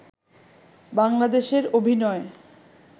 বাংলাদেশের অভিনয়